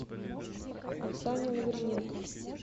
оксане лавриненко